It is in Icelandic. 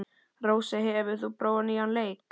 Rósey, hefur þú prófað nýja leikinn?